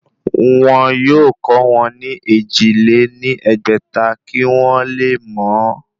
Wọn yóò kọ́ wọn ní èjì lé ní ẹgbẹ́ta kí wọ́n le mọ ọ́